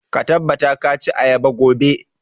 Ka tabbata ka ci ayaba gobe!